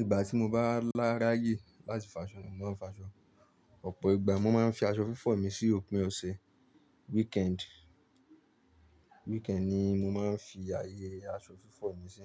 Ìgbà tí mo bá lá rayè láti fo aṣọ nì mọ n fo aṣọ, ọ̀pọ̀ ìgbà mọ ma n fi aṣọ fífọ̀ mi sí òpin ọ̀sẹ̀. Weekend ni mọ ma n fi ayẹyẹ aṣọ fífọ̀ mi sí,